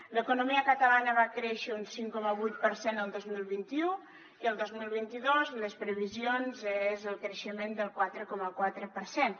l’economia catalana va créixer un cinc coma vuit per cent el dos mil vint u i el dos mil vint dos les previsions són el creixement del quatre coma quatre per cent